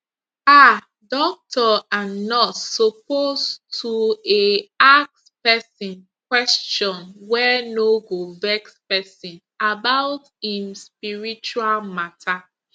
um doctor and nurse suppose toeh ask pesin question wey no go vex pesin about em spiritual matter